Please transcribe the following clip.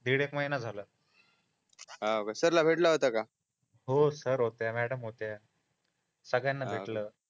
दीड एक महिना झाला होका सरला भेटला होता काय हो सर होते मॅडम होत्या सगळ्यांना भेटलो